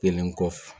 Kelen kɔfɛ